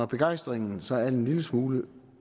begejstringen så er en lille smule